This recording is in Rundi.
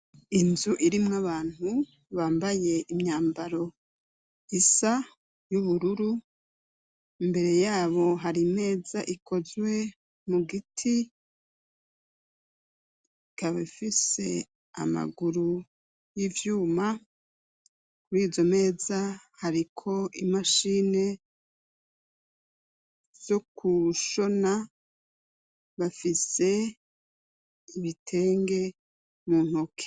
Inzu irimwo abantu bambaye imyambaro isa y'ubururu; imbere yabo hari meza ikozwe mu giti , ikaba ifise amaguru y'ivyuma. Kuri izo meza hariko imashini zo kushona, bafise ibitenge mu ntoke.